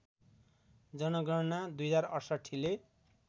जनगणना २०६८ ले